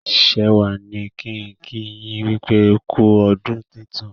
Shewa ní kín kí yin wípé ku ọdún tintun.